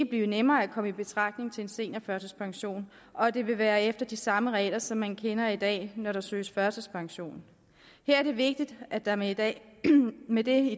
blive nemmere at komme i betragtning til en seniorførtidspension og at det vil være efter de samme regler som man kender i dag når der søges førtidspension her er det vigtigt at der med det med det